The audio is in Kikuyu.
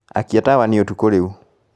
Akia tawa nĩ ũtukũ rĩu